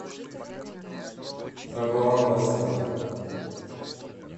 табоан да серра